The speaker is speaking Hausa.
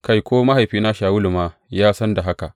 Kai, ko mahaifina Shawulu ma ya san da haka.